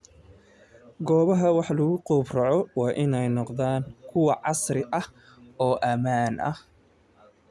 Goobaha wax lagu gowraco waa inay noqdaan kuwo casri ah oo ammaan ah.